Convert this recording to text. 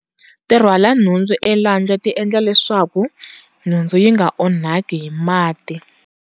ti rhwala nhundzu elwandle ti endla leswaku nhundzu yi nga onhaki hi mati.